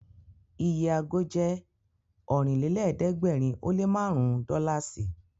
Iye ago jẹ́ Ọ̀rìnlélẹ̀ẹ́dẹ́gbèrin ó lé márùn-ún dọ́làsì